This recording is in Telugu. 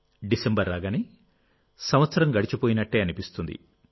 డిసెంబరు రాగానే సంవత్సరం గడిచిపోయినట్టే అనిపిస్తుంది